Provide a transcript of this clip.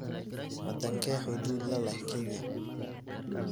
Wadankee xuduud la leh Kenya?